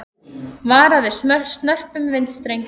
Varað við snörpum vindstrengjum